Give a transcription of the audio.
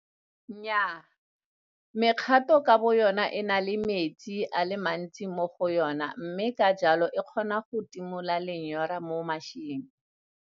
Nnyaa, mekgato ka boyona e na le metsi a le mantsi mo go yona mme ka jalo e kgona go timola lenyora mo maseeng.